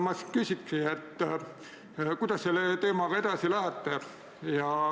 Ma küsiksingi siis, kuidas te selle teemaga edasi lähete.